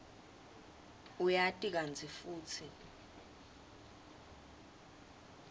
uyati kantsi futsi